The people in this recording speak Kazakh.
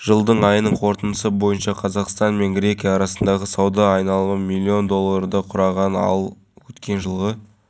аты аңызға айналған алакөл туралы ғаламтордан көп оқыған едім ақыры бел шешіп алғаш рет келіп тұрмын